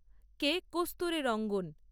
কে Kasturi রঙ্গন